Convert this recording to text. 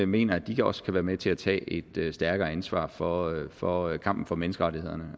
mener de også kan være med til at tage et stærkere ansvar for for kampen for menneskerettighederne